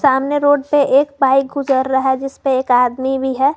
सामने रोड पे एक बाइक गुजर रहा है जिसपे एक आदमी भी है।